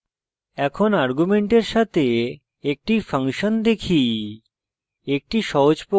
এখন arguments সাথে একটি ফাংশন দেখি